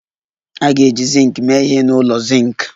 A ga-eji zinc mee ihe n'ụlọ zinc